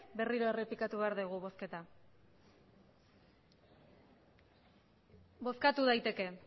berriro errepikatu behar dugu bozketa bozkatu daiteke